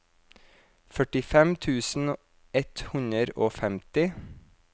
førtifem tusen ett hundre og femti